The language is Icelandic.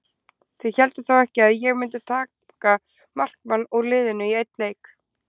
Þið hélduð þó ekki að ég mundi taka markmann úr liðinu í einn leik?